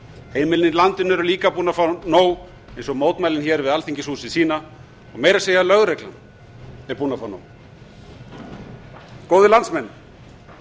heimilin í landinu eru líka búin að fá nóg eins og mótmælin hér við alþingishúsið sýna meira að segja lögreglan er búin að fá nóg góðir landsmenn